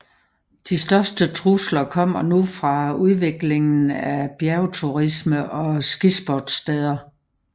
De største trusler kommer nu fra udviklingen af bjergturisme og skisportssteder